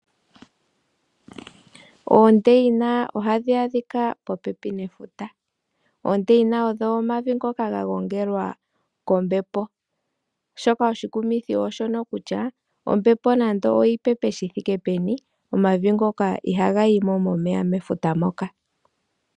Oondeyina ohadhi adhika popepi nefuta. Oondeyina odho omavi ngoka gagongelwa kombepo, shoka oshikumithi ooshono olkutya ombepo nande oyipepe shithike peni omavi goka ihagayimo momeya mefuta moka.